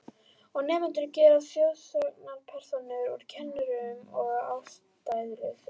Og nemendur gera þjóðsagnapersónur úr kennurum að ástæðulausu.